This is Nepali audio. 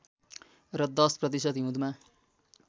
र १० प्रतिशत हिउँदमा